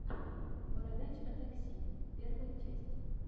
бородач о такси первая часть